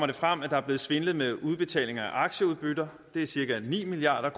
det frem at der er blevet svindlet med udbetalinger af aktieudbytter det er cirka ni milliard